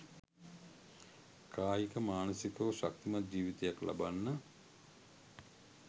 කායික මානසිකව ශක්තිමත් ජීවිතයක් ලබන්න